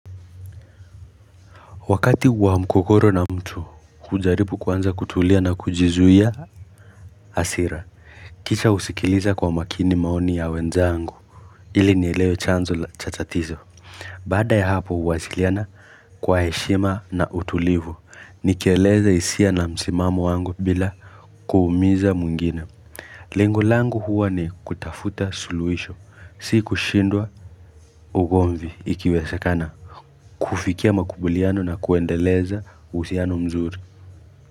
Wakati wa mgogoro na mtu kujaribu kwanza kutulia na kujizuia hasira Kisha usikiliza kwa makini maoni ya wenzangu ili nielewe chanzo cha tatizo Baada ya hapo uwasiliana kwa heshima na utulivu Nikieleza hisia na msimamo wangu bila kuumiza mwingine Lengo langu huwa ni kutafuta suluhisho si kushindwa ugomvi ikiwezekana kufikia makubuliano na kuendeleza uhusiano mzuri.